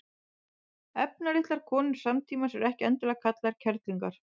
efnalitlar konur samtímans eru ekki endilega kallaðar kerlingar